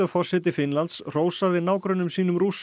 forseti Finnlands hrósaði nágrönnum sínum Rússum